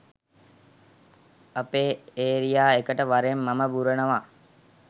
අපේ ඒරියා එකට වරෙන් මම බුරනවා